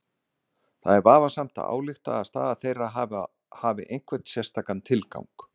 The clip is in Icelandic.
Það er vafasamt að álykta að staða þeirra þar hafi einhvern sérstakan tilgang.